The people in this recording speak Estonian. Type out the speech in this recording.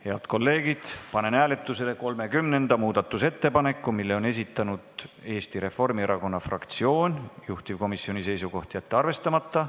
Head kolleegid, panen hääletusele 30. muudatusettepaneku, mille on esitanud Eesti Reformierakonna fraktsioon, juhtivkomisjoni seisukoht: jätta see arvestamata.